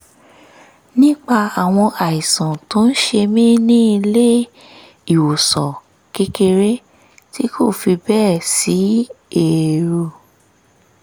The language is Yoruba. nípa àwọn àìsàn tó ń ṣe mí ní ilé-ìwòsàn kékeré tí kò fi bẹ́ẹ̀ sí èrò